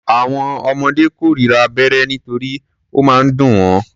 Àwọn ọmọdé kórira abẹ́rẹ́ nítorí ó máa ń dùn wọ́.